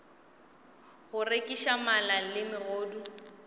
go rekiša mala le megodu